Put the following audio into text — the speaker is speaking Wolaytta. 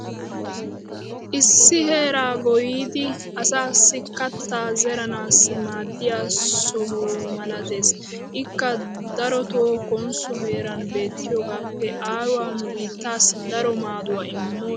issi heeraa goyyidi asaassi kataa zeranaassi maadiya soho malattees. ikka darotoo konsso heeran beetiyoogaappe aaruwaa nu biittaassi daro maaduwa immoosona.